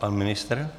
Pan ministr?